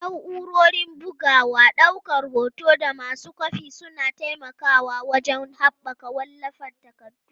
Na'urorin bugawa, daukar hoto, da masu kwafi suna taimakawa wajen haɓaka wallafa takardu.